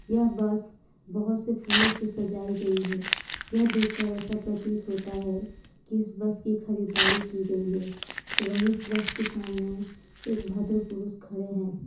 यह बस बहुत से फूलों से सजाई गई है। यह देखकर ऐसा प्रतीत होता है कि इस बस की खरीदारी की गई है एवं इस बस के सामने एक भद्र पुरुष खड़े हैं।